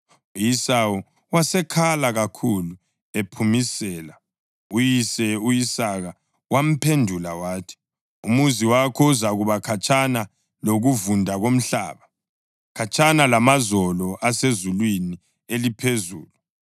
Uyise u-Isaka wamphendula wathi, “Umuzi wakho uzakuba khatshana lokuvunda komhlaba, khatshana lamazolo asezulwini eliphezulu.